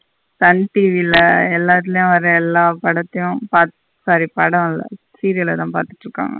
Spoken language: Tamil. சன் டிவி ல எல்லாத்தலையு வர எல்லா படத்தையு பாத் sorry படம் இல்ல serial லதா பாத்துட்டு இருக்காங்க.